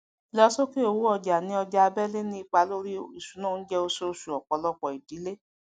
ìlọsókè owó ọjà ní ọjà abẹlé ni ipa lorí ìṣúná oúnjẹ oṣooṣù ọpọlọpọ ìdílé